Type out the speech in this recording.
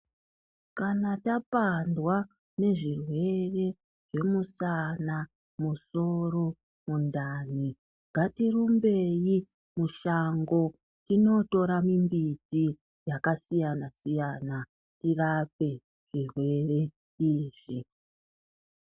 Kana tapandwa nezvirwere zvemusana, musoro, mundani, ngatirumbeyi mushango tindotora mimbiti yakasiyana-siyana tirape zvirwere izvi.